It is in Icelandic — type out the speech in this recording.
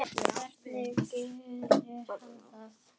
Hvernig gerir hann það?